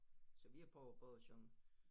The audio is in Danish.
Så vi har prøvet både at synge